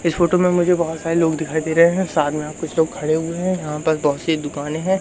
इस फोटो में मुझे बहोत सारे लोग दिखाई दे रहे है साथ में यहां कुछ लोग खड़े हुए है यहां पास बहोत सी दुकानें हैं।